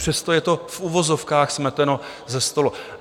Přesto je to v uvozovkách smeteno se stolu.